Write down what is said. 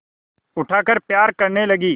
उठाकर प्यार करने लगी